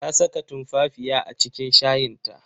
Ta saka tumfafiya a cikin shayin ta.